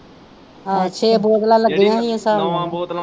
ਆਹੋ ਛੇ ਬੋਤਲਾਂ ਲੱਗੀਆਂ ਈ ਸਾਬ ਨਾ।